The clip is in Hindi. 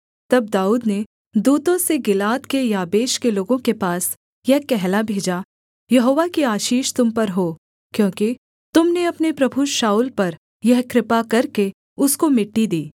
तब दाऊद ने दूतों से गिलाद के याबेश के लोगों के पास यह कहला भेजा यहोवा की आशीष तुम पर हो क्योंकि तुम ने अपने प्रभु शाऊल पर यह कृपा करके उसको मिट्टी दी